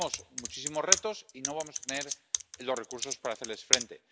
Tenemos muchísimos retos y no vamos a tener los recursos para hacerles frente.